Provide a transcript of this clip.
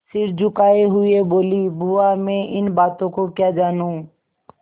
सिर झुकाये हुए बोलीबुआ मैं इन बातों को क्या जानूँ